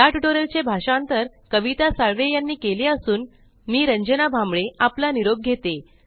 या टयूटोरियल चे भाषांतर कविता साळवे यांनी केले असून मी रंजना भांबळे आपला निरोप घेते